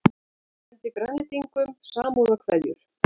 Sendi Grænlendingum samúðarkveðjur